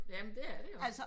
Jamen det er det jo